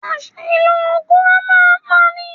Àṣìlò oògùn a máa pa ni.